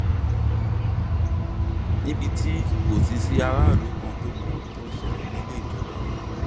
níbi tí kò ti sí aráàlú kan tó mọ ohun tó ń ṣẹlẹ nílé ìjọba